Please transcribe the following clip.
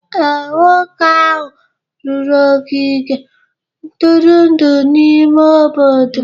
Ee, nwoke ahụ rụrụ ogige ntụrụndụ n'ime obodo